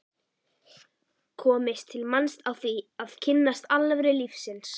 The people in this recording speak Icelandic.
komist til manns á því að kynnast alvöru lífsins.